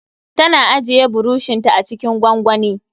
Tana ajiye burushin ta acikin gwangwani